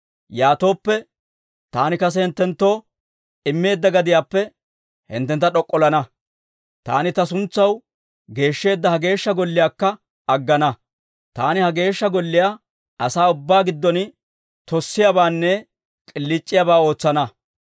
yaatooppe, taani kase hinttenttoo immeedda gadiyaappe hinttentta d'ok'ollana; taani ta suntsaw geeshsheedda ha Geeshsha Golliyaakka aggana. Taani ha Geeshsha Golliyaa asaa ubbaa giddon tossiyaabaanne k'iliic'iyaabaa ootsana.